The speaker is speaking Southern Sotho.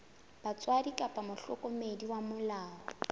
batswadi kapa mohlokomedi wa molao